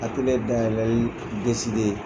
A ka dayɛlɛli .